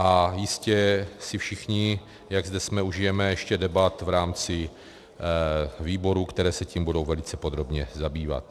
A jistě si všichni, jak zde jsme, užijeme ještě debat v rámci výborů, které se tím budou velice podrobně zabývat.